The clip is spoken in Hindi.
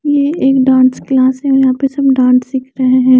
ये एक डांस क्लास है और यहाँ पर सब डांस सीखते हैं।